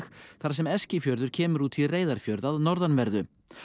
þar sem Eskifjörður kemur út í Reyðarfjörð að norðanverðu